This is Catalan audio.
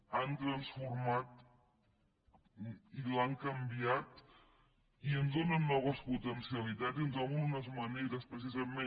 l’han transformada i l’han canvi·ada i en donen noves potencialitats i ens obren unes maneres precisament